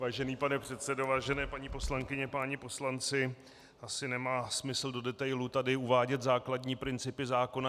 Vážený pane předsedo, vážené paní poslankyně, páni poslanci, asi nemá smysl do detailů tady uvádět základní principy zákona.